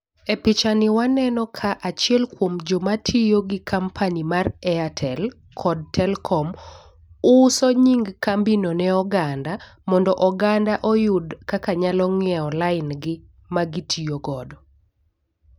E picha ni waneno ka achiel kuom joma tiyo gi company mar airtel kod telkom uso nying kambi no ne oganda mondo oganda oyud kaka nyalo nyiewo lain gi ma gitiyo godo.